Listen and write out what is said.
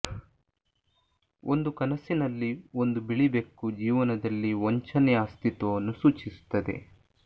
ಒಂದು ಕನಸಿನಲ್ಲಿ ಒಂದು ಬಿಳಿ ಬೆಕ್ಕು ಜೀವನದಲ್ಲಿ ವಂಚನೆಯ ಅಸ್ತಿತ್ವವನ್ನು ಸೂಚಿಸುತ್ತದೆ